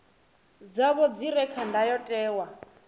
dzavho dzi re kha ndayotewa